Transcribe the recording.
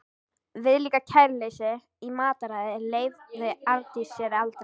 Viðlíka kæruleysi í mataræði leyfði Arndís sér aldrei.